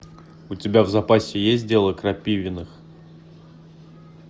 у тебя в запасе есть дело крапивиных